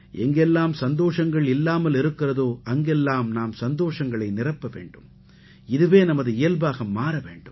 எங்கெல்லாம் சந்தோஷங்கள் இல்லாமல் இருக்கிறதோ அங்கெல்லாம் நாம் சந்தோஷங்களை நிரப்ப வேண்டும் இதுவே நமது இயல்பாக மாற வேண்டும்